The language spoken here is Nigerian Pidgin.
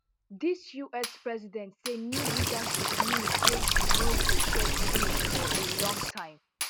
di us president say new leadership mean say you no go get deal for a long time